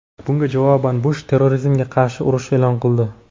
Bunga javoban Bush terrorizmga qarshi urush e’lon qildi.